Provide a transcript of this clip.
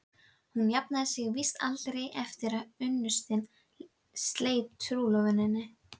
Hún jafnaði sig víst aldrei eftir að unnustinn sleit trúlofuninni.